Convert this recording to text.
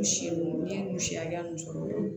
U si nun ye u si hakɛya min sɔrɔ